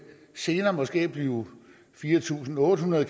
senere måske blive fire tusind otte hundrede